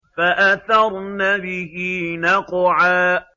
فَأَثَرْنَ بِهِ نَقْعًا